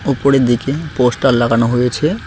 উপরের দিকে পোস্টার লাগানো হয়েছে।